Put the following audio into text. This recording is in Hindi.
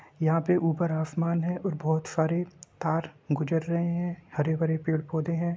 यहाँ पे ऊपर आसमान है और बहोत सारे तार गुजर रहे हैं। हरे-भरे पेड़-पौधे हैं।